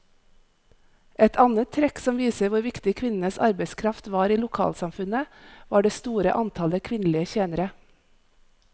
Et annet trekk som viser hvor viktig kvinnenes arbeidskraft var i lokalsamfunnet, var det store antallet kvinnelige tjenere.